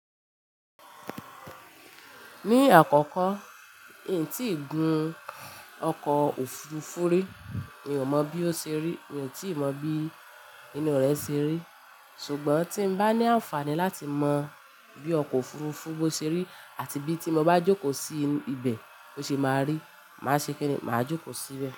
Ní àkọ́kọ́, n tíì gun ọkọ̀ òfurufú rí, mi ò mọ̀ bí ó ṣe rí, mi ò tíì mọ̀ bí inú rẹ̀ ṣe rí. Ṣùgbọ́n tí n bá ní àǹfààní láti mọ bí ọkọ̀ òfurufú bó ṣe rí àti bí tí mo bá jókòó sí ibẹ̀ bó ṣe máa rí, màá ṣe kíni? Màá jókòó síbẹ̀.